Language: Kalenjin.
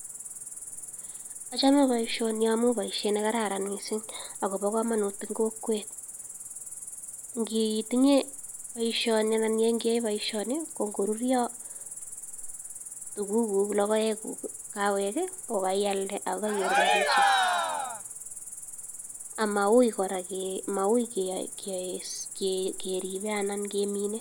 Achame boisioni amun boisiet ne kararan mising ako kobo kamanut eng kokwet. Ngitinye boisioni anan ngiyae boisioni ko ngoruryo tuguuk, logoekuk ko kaialde ak kainyoru rapishek ama uui kora keripe anan keminei.